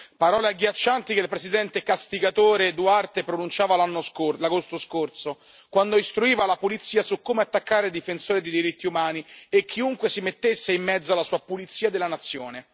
parole agghiaccianti che il presidente castigatore Duterte pronunciava l'agosto scorso, quando istruiva la polizia su come attaccare i difensori dei diritti umani e chiunque si mettesse di mezzo alla sua pulizia della nazione.